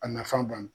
A nafan ban na